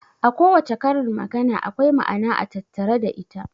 A kowace karin magana akwai ma'ana a tattare da ita.